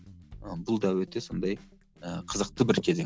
ы бұл да өте сондай ыыы қызықты бір кезең